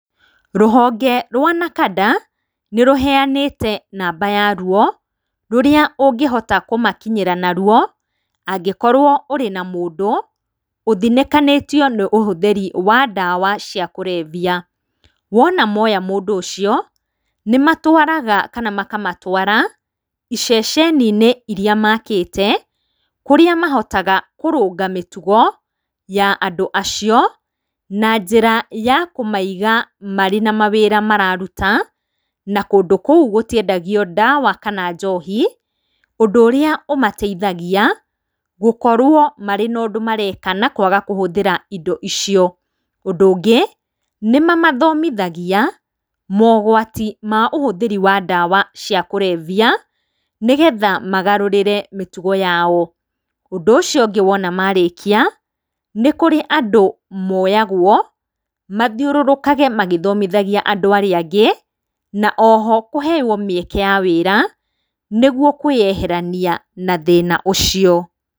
Rũhonge rwa NACADA nĩ rũheanĩte namba ya ruo rũrĩa ũngĩhota kũmakinyĩra naruo. Angĩkorwo ũrĩ na mũndũ ũthinĩkanĩtio ni ũhũthĩri wa ndawa cia kũrebia. Wona moya mũndũ ũcio, nĩ matwaraga kana makamatwara ceceni-inĩ iria makĩte. kũrĩa mahotaga kũrũnga mĩtugo ya andũ acio, na njĩra ya kũmaiga marĩ na mawĩra mararuta, na kũndũ kũu gũtiendagio ndawa, kana njohi ũndũ ũrĩa ũmateithagia gũkorwo marĩ na ũndũ mareka na kwaga kũhũthĩra indo icio. Ũndũ ũngĩ nĩ mamathomithagia mogwati ma ũhũthĩri wa ndawa cia kũrebia nĩgetha magarũrĩre mĩtũgo yao. Ũndũ ũcio ũngĩ wona marĩkia nĩ kũrĩ andũ moyagwo, mathiũrũrũkage magĩthomithagia andũ arĩa angĩ, na oho kũheo mĩeke ya wĩra nĩguo kwĩyeherania na thĩina ũcio.